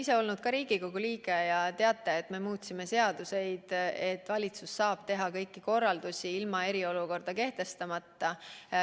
Te olete Riigikogu liige ja teate, et me muutsime seaduseid nii, et valitsus saab anda kõiki korraldusi ilma eriolukorda kehtestamata.